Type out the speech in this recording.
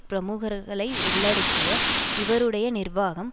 பிரமுகர்களை உள்ளடக்கிய இவருடைய நிர்வாகம்